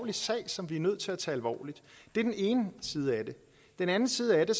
en sag som vi er nødt til at tage alvorligt det er den ene side af det den anden side af